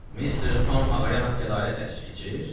Mister Tom ağaya həqq ədalət dərsi keçir?